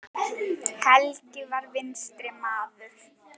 Helgi var vinstri maður.